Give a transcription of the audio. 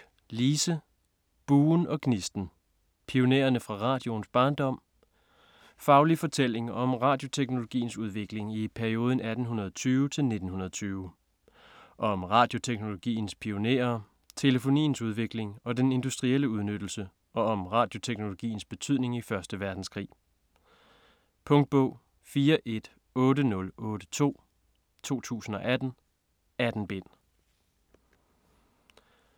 Bock, Lise: Buen og gnisten: pionererne fra radioens barndom Faglig fortælling om radioteknologiens udvikling i perioden 1820-1920. Om radioteknologiens pionerer, telefoniens udvikling og den industrielle udnyttelse og om radioteknologiens betydning i første verdenskrig. Punktbog 418082 2018. 18 bind.